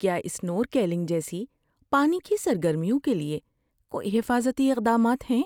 کیا اسنورکلنگ جیسی پانی کی سرگرمیوں کے لیے کوئی حفاظتی اقدامات ہیں؟